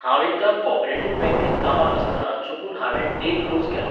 हांव एकदां कॉपरेटिव्ह बँकेंत कामाक आसतना चुकून हांवें डे क्लोज केलो.